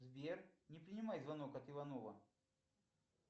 сбер не принимай звонок от иванова